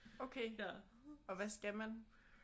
Okay. Og hvad skal man?